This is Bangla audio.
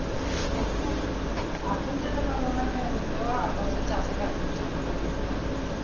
এখন যেতে পারবো না আমি এখন তো আব্বা সে চাষে কাজ করছে আমাকেও করতে হবে